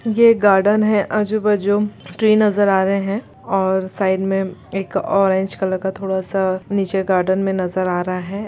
ये एक गार्डन है आजू-बाजू ट्री नजर आ रहे हैं और साइड में एक ऑरेंज कलर का थोड़ा सा नीचे गार्डन में नजर आ रहा है।